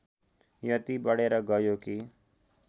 यति बढेर गयो कि